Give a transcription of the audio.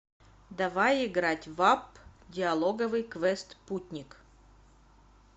давай играть в апп диалоговый квест путник